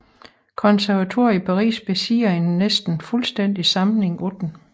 Konservatoriet i Paris besidder en næsten fuldstændig samling af dem